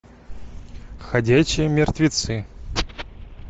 ходячие мертвецы